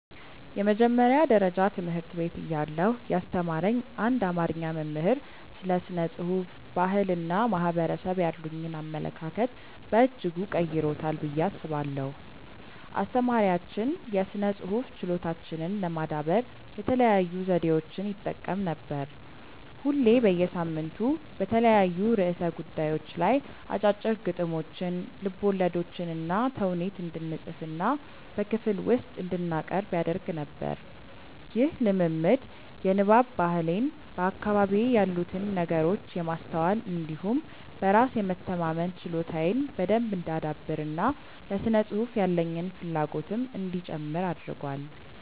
የመጀመሪያ ደረጃ ትምህርት ቤት እያለሁ ያስተማረኝ አንድ አማርኛ መምህር ስለ ስነ ጽሁፍ፣ ባህል እና ማህበረሰብ ያሉኝን አመለካከት በእጅጉ ቀርጾታል ብዬ አስባለሁ። አስተማሪያችን የስነ ጽሁፍ ችሎታችንን ለማዳበር የተለያዩ ዘዴዎችን ይጠቀም ነበር። ሁሌ በየሳምንቱ በተለያዩ ርዕሰ ጉዳዮች ላይ አጫጭር ግጥሞችን፣ ልቦለዶችንና ተውኔት እንድንፅፍና በክፍል ውስጥ እንድናቀርብ ያደርግ ነበር። ይህ ልምምድ የንባብ ባህሌን፣ በአካባቢዬ ያሉትን ነገሮች የማስተዋል እንዲሁም በራስ የመተማመን ችሎታዬን በደንብ እንዳዳብር እና ለስነ ጽሁፍ ያለኝን ፍላጎትም እንዲጨምር አድርጓል።